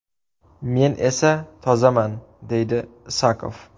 Men esa tozaman”, deydi Isakov.